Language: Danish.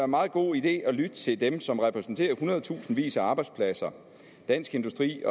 meget god idé at lytte til dem som repræsenterer hundredtusindvis af arbejdspladser dansk industri